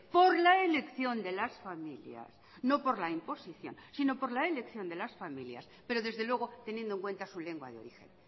por la elección de las familias no por la imposición si no por la elección de la familias pero desde luego teniendo en cuenta su lengua de origen